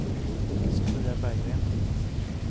Sofia Berggren